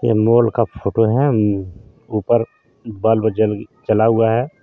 ये मॉल का फोटो है ऊपर बल्ब जल-जला हुआ है.